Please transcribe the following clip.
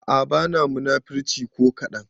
A'a bana munafurci ko kadan